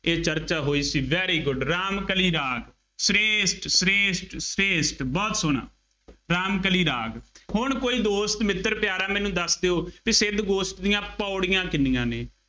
ਇਹ ਚਰਚਾ ਹੋਈ ਸੀ, very good ਰਾਮ ਕਲੀ ਰਾਗ, ਸ਼੍ਰੇਸ਼ਠ, ਸ਼੍ਰੇਸ਼ਠ, ਸ਼੍ਰੇਸ਼ਠ ਬਹੁਤ ਸੋਹਣਾ, ਰਾਮ ਕਲੀ ਰਾਗ, ਹੁਣ ਕੋਈ ਦੋਸਤ, ਮਿੱਤਰ, ਪਿਆਰਾ ਮੈਨੂੰ ਦੱਸ ਦਿਉ ਬਈ ਸਿੱਧ ਗੋਸ਼ਟ ਦੀਆਂ ਪੌੜੀਆਂ ਕਿੰਨੀਆਂ ਨੇ,